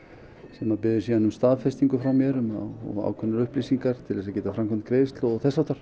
sem biður síðan um staðfestingu frá mér um ákveðnar upplýsingar til að geta framkvæmt greiðslu